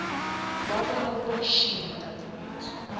wabola uboshiwe dadewethu